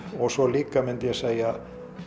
og svo líka myndi ég segja